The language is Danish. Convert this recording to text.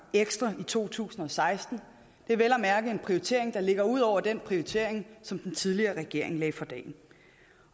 ekstra i to tusind og seksten det er vel at mærke en prioritering der ligger ud over den prioritering som den tidligere regering lagde for dagen